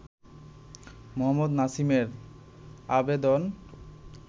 মোহাম্মদ নাসিমের আবেদন